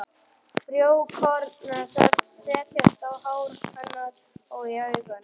Frjókorn þess setjast á hár hennar og í augun.